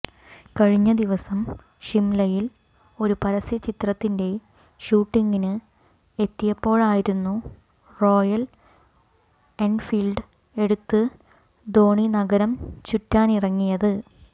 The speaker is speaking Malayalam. കഴിഞ്ഞ ദിവസം ഷിംലയിൽ ഒരു പരസ്യ ചിത്രത്തിന്റെ ഷൂട്ടിംഗിന് എത്തിയപ്പോളായിരുന്നു റോയൽ എൻഫീൽഡ് എടുത്ത് ധോണി നഗരം ചുറ്റാനിറങ്ങിയത്